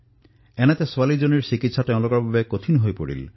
এনে পৰিস্থিতিত শিশুটিৰ চিকিৎসা অতিশয় কঠিন হৈ পৰিছিল